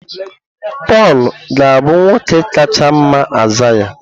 Pọl ga-abụ nwoke kacha mma Aịzaya.